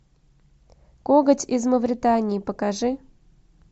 коготь из мавритании покажи